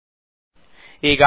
4ಎಕ್ಸ್3 ಅಂದರೆ 12